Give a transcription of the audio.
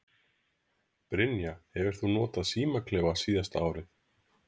Brynja: Hefur þú notað símaklefa síðasta árið?